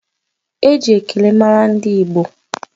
Eji ekele mara ndị Igbo